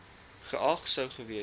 geag sou gewees